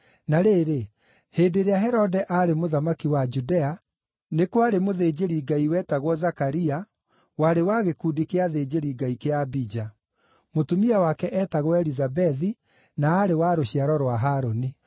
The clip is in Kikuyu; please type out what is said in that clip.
Na rĩrĩ, hĩndĩ ĩrĩa Herode aarĩ mũthamaki wa Judea, nĩ kwarĩ mũthĩnjĩri-Ngai wetagwo Zakaria, warĩ wa gĩkundi kĩa athĩnjĩri-Ngai kĩa Abija; mũtumia wake eetagwo Elizabethi na aarĩ wa rũciaro rwa Harũni.